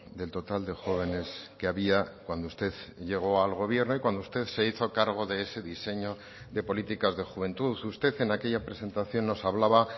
del total de jóvenes que había cuando usted llegó al gobierno y cuando usted se hizo cargo de ese diseño de políticas de juventud usted en aquella presentación nos hablaba